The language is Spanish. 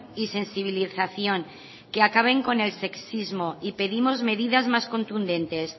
y sensibilización que acaben con el sexismo y pedimos medidas más contundentes